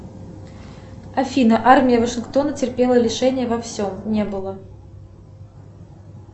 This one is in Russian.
афина армия вашингтона терпела лишения во всем не было